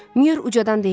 Myur ucadan deyirdi.